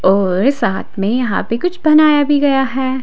और साथ में यहां पे कुछ बनाया भी गया हैं।